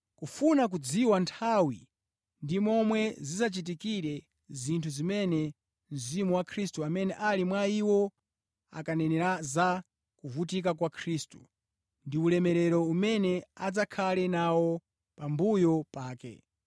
kufuna kudziwa nthawi ndi momwe zidzachitikire zinthu zimene Mzimu wa Khristu amene ali mwa iwo ankanenera za kuvutika kwa Khristu, ndi ulemerero umene adzakhale nawo pambuyo pake.